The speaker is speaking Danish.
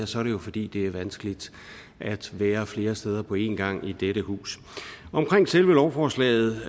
så er det jo fordi det er vanskeligt at være flere steder på en gang i dette hus omkring selve lovforslaget